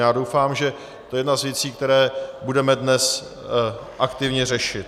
Já doufám, že to je jedna z věcí, které budeme dnes aktivně řešit.